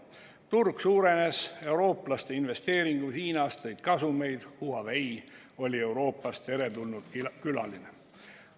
Turg suurenes, eurooplaste investeeringud Hiinas tõid kasumeid, Huawei oli Euroopas teretulnud külaline.